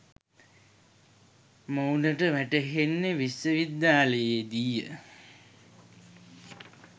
මොවුනට වැටහෙන්නේ විශ්ව විද්‍යාලයේදීය.